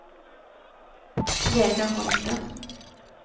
Vegar Holthe